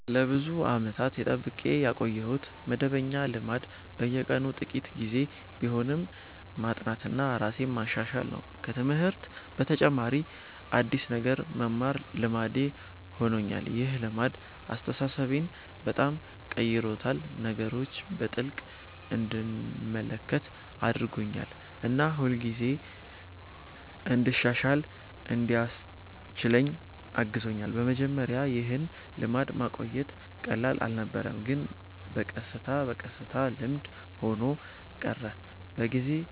ለብዙ ዓመታት የጠብቄ ያቆየሁት መደበኛ ልማድ በየቀኑ ጥቂት ጊዜ ቢሆንም ማጥናትና ራሴን ማሻሻል ነው። ከትምህርት በተጨማሪ አዲስ ነገር መማር ልማዴ ሆኖኛል። ይህ ልማድ አስተሳሰቤን በጣም ቀይሮታል፤ ነገሮችን በጥልቅ እንድመለከት አድርጎኛል እና ሁልጊዜ እንድሻሻል እንዲያስችለኝ አግዞኛል። በመጀመሪያ ይህን ልማድ ማቆየት ቀላል አልነበረም፣ ግን በቀስታ በቀስታ ልምድ ሆኖ ቀረ። ከጊዜ